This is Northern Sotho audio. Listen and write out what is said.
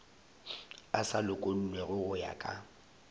a sa lokollwego go ya